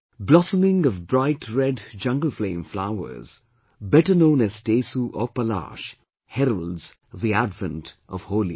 Blossoming of bright red Jungle Flame flowers, better known as Tesu or Palash heralds the advent of Holi